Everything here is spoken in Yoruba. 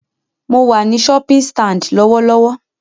Mo wà ní shopping stand lọ́wọ́lọ́wọ́